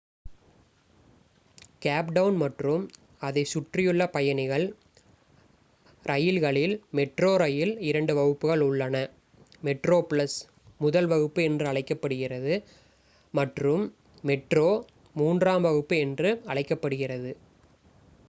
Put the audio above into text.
gap Town மற்றும் அதைச் சுற்றியுள்ள பயணிகள் ரயில்களில் மெட்ரோ ரெயில் இரண்டு வகுப்புகள் உள்ளன: மெட்ரோபிளஸ் முதல் வகுப்பு என்று அழைக்கப்படுகிறது மற்றும் மெட்ரோ மூன்றாம் வகுப்பு என்று அழைக்கப்படுகிறது